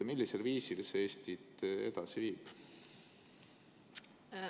Millisel viisil see Eestit edasi viib?